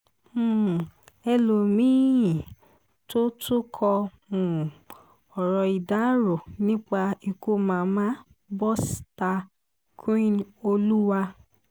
um ẹlọ́mìn-ín tó tún kọ um ọ̀rọ̀ ìdárò nípa ikú mama bosta queenoluwa